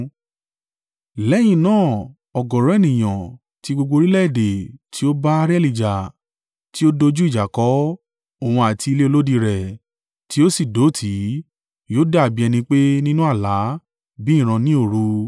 Lẹ́yìn náà, ọ̀gọ̀ọ̀rọ̀ ènìyàn tí gbogbo orílẹ̀-èdè tí ó bá Arieli jà, tí ó dojú ìjà kọ òun àti ilé olódi rẹ̀ tí ó sì dó tì í, yóò dàbí ẹni pé nínú àlá, bí ìran ní òru